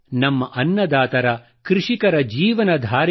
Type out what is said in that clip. ನಮ್ಮ ಅನ್ನದಾತರ ಕೃಷಿಕರ ಜೀವನಧಾರೆಯ